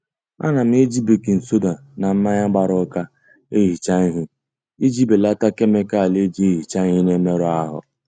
Ana m eji bakin soda na mmanya gbara ụka ehicha ihe iji belata kemịkalụ e ji ehicha ihe na-emerụ ahụ